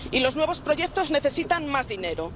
Y los nuevos proyectos necesitan más dinero.